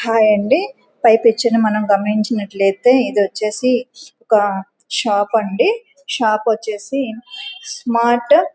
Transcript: Hi అంది ఫై picture ని మనం గమనించినట్లయితే ఇధూచేసి ఒక షాప్ అండి. షాప్ వచ్చేసి స్మార్ట్ --